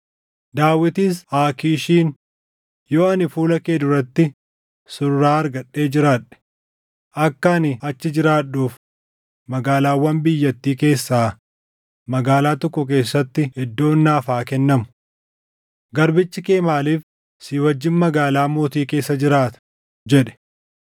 Daawitis Aakiishiin, “Yoo ani fuula kee duratti surraa argadhee jiraadhe, akka ani achi jiraadhuuf magaalaawwan biyyattii keessaa magaalaa tokko keessatti iddoon naaf haa kennamu. Garbichi kee maaliif si wajjin magaalaa mootii keessa jiraata?” jedhe.